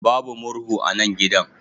Babu murhu a nan gidan.